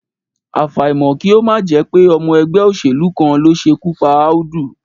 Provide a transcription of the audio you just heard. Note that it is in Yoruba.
Àfàìmọ̀ kí ó má jẹ́ pé ọmọ ẹgbẹ́ òṣèlú kan ló ṣekú pa Audu